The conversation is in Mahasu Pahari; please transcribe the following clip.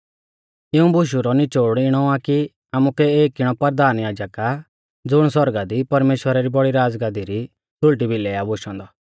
इऊं बुशु रौ निचोड़ इणौ आ कि आमुकै एक इणौ परधान याजक आ ज़ुण सौरगा दी परमेश्‍वरा री बौड़ी राज़गादी री सुल़टी भिलै आ बोशौ औन्दौ